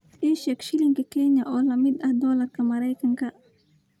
ii sheeg shilinka Kenya oo la mid ah doolarka Maraykanka